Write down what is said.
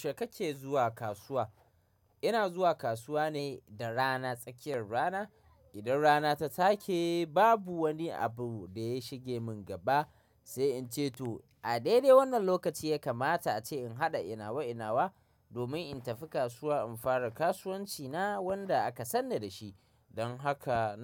Yaushe kake zuwa kasuwa? Ina zuwa kasuwa ne da rana, tsakiyar rana. Idan rana ta take, babu wani abu da ya shige mun gaba sai in ce to a daidai wannan lokaci ya kamata ace in haɗa ina wa ina wa domin in tafi kasuwa in fara kasuwanci na wanda aka sanni da shi. Don haka.